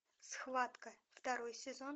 схватка второй сезон